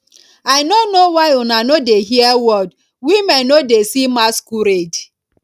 i no know why una no dey hear word women no dey see masquerade